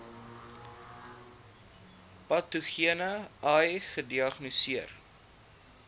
patogene ai gediagnoseer